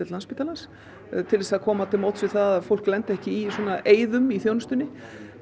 Landspítalans til að komast til móts við það að fólk lendi ekki í svona eyðum í þjónustunni